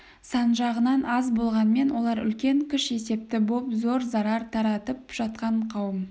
сан жағынан аз болғанмен олар үлкен күш есепті боп зор зарар таратып жатқан қауым